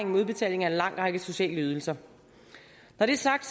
med udbetaling af en lang række sociale ydelser når det er sagt